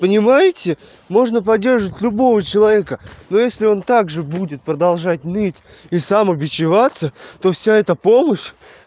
понимаете можно поддерживать любого человека но если он также будет продолжать ныть и сам убечеваться то вся эта помощь